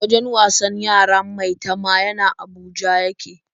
Wajen wasan yaran Maitama yana a Abuja ya ke.